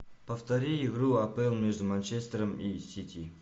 повтори игру апл между манчестером и сити